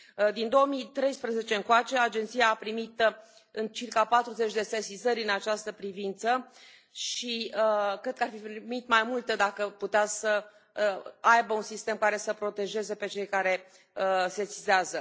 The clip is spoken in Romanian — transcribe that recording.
Din 2013 încoace Agenția a primit circa 40 de sesizări în această privință și cred că ar fi primit mai multe dacă putea să aibă un sistem care să îi protejeze pe cei care sesizează.